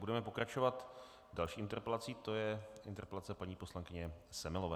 Budeme pokračovat další interpelací, to je interpelace paní poslankyně Semelové.